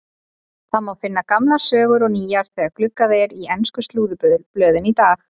Það má finna gamlar sögur og nýjar þegar gluggað er í ensku slúðurblöðin í dag.